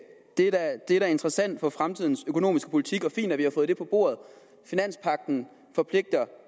det er er da interessant for fremtidens økonomiske politik og fint at vi har fået det på bordet finanspagten forpligter